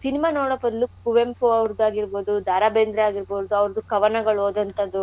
cinema ನೋಡ ಬದಲು ಕುವೆಂಪು ಅವ್ರದ್ ಆಗಿರ್ಬೋದು ದಾರಾ ಬೇಂದ್ರೆ ಆಗಿರ್ಬೋದು ಅವ್ರ್ದು ಕವನಗಳು ಓದೋಂಥದ್ದು